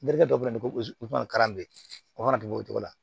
dɔ bɛ na ko o kana dogo o cogo la